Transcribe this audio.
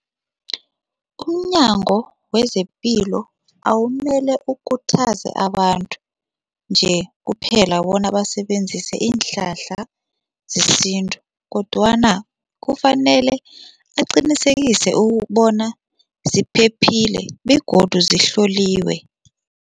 UmNyango wezePilo awumele ukhuthaze abantu nje kuphela bona basebenzise iinhlahla zesintu kodwana kufanele aqinisekise ukubona ziphephile begodu zihloliwe.